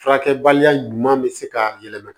Furakɛbaliya ɲuman bɛ se ka yɛlɛma